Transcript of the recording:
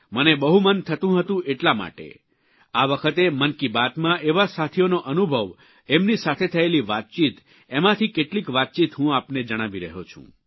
મને બહુ મન થતું હતું એટલા માટે આ વખતે મન કી બાતમાં એવા સાથીઓનો અનુભવ એમની સાથે થયેલી વાતચીત એમાંથી કેટલીક વાતચીત હું આપને જણાવી રહ્યો છું